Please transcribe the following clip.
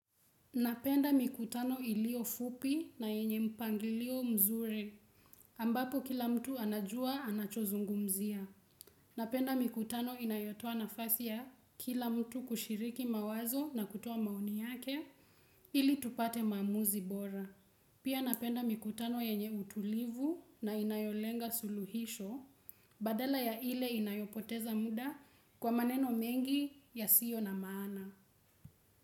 Napenda mikutano ilio fupi na yenye mpangilio mzuri, ambapo kila mtu anajua anachozungumzia. Napenda mikutano inayotoa nafasi ya kila mtu kushiriki mawazo na kutua maoni yake, ili tupate maamuzi bora. Pia napenda mikutano yenye utulivu na inayolenga suluhisho, badala ya ile inayopoteza muda kwa maneno mengi yasio na maana.